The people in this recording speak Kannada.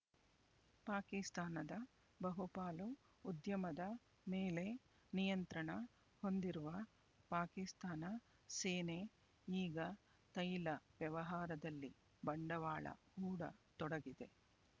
ಪಾಕಿಸ್ತಾನದ ಬಹುಪಾಲು ಉದ್ಯಮದ ಮೇಲೆ ನಿಯಂತ್ರಣ ಹೊಂದಿರುವ ಪಾಕಿಸ್ತಾನ ಸೇನೆ ಈಗ ತೈಲ ವ್ಯವಹಾರದಲ್ಲಿ ಬಂಡವಾಳ ಹೂಡ ತೊಡಗಿದೆ